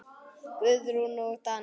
Guðrún og Daníel.